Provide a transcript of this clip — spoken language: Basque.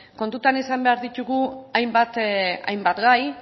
kontutan izan behar ditugu hainbat gai